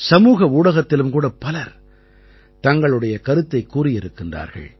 சமூக ஊடகத்திலும் கூட பலர் தங்களுடைய கருத்தைக் கூறியிருக்கிறார்கள்